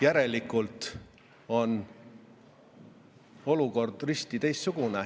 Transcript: Järelikult on olukord risti vastupidine.